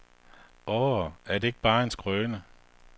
Årh, er det ikke bare en skrøne.